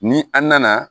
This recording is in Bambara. Ni an nana